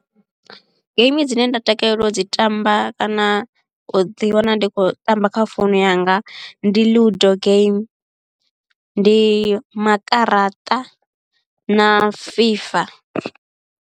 Game dzine nda takalela u dzi tamba kana u ḓi wana ndi khou tamba kha founu yanga ndi ludo game ndi makaraṱa na FIFA.